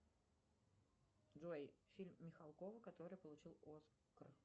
джой фильм михалкова который получил оскар